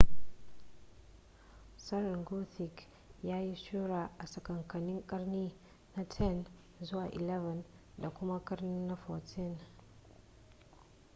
tsarin gothic ya yi shura a tsakankanin karni na 10 zuwa na 11 da kuma karni na 14